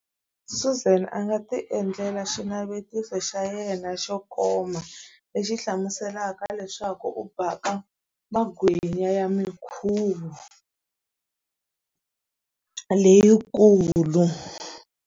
Suzan a nga ti endlela xinavetiso xa yena xo koma, lexi hlamuselaka leswaku u baka magwinya ya mikhuvo leyikulu.